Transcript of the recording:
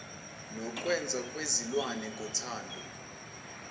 nokwenza kwezilwane ngothando